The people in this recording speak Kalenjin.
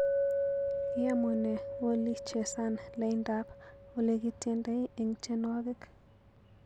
Iyamunee oli chesan laindap olegityendoi eng tyenwogik